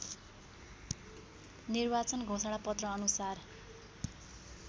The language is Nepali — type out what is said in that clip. निर्वाचन घोषणा पत्रअनुसार